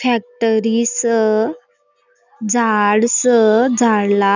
फॅक्टरी स झाड़ स झाड़ला --